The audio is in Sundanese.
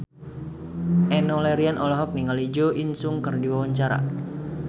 Enno Lerian olohok ningali Jo In Sung keur diwawancara